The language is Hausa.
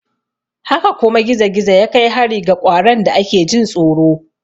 Haka kuma gizo-gizo ya kai hari ga ƙwaron da ake jin tsoro.